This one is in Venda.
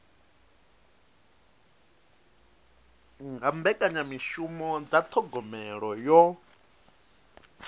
nga mbekanyamishumo dza thogomelo yo